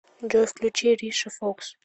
джой включи риша фокс